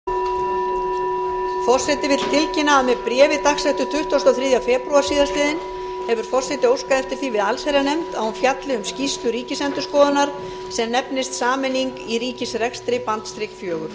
forseti vill tilkynna að með bréfi dagsettu tuttugasta og þriðja febrúar síðastliðinn hefur forseti óskað eftir því við allsherjarnefnd að hún fjalli um skýrslu ríkisendurskoðunar sem nefnist sameining í ríkisrekstri fjögur